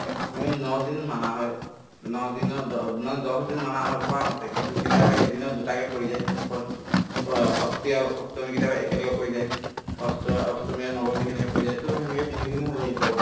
to আমি ন দিন মানা হয় ন দিনত দহ নহয় দহ দিনমানা হয় কোৱা মতে কিন্তু কেতিয়াবা এদিনত দুটাকে পৰি যায় পঞ্চমী ষষ্ঠী আৰু সপ্তমী কেতিয়াবা একেলগে পৰি যায় অষ্ট অষ্টমী আৰু নৱমী সেনেকে পৰি যায় to সেনেকে তিনিদিন হৈ যায় কেতিয়াবা